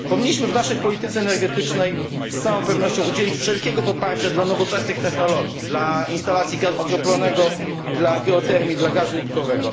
Powinniśmy w naszej polityce energetycznej z całą pewnością udzielić wszelkiego poparcia dla nowoczesnych technologii, dla instalacji gazu skroplonego, dla geotermii, dla gazu łupkowego.